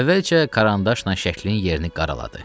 Əvvəlcə karandaşla şəklinin yerini qaraladı.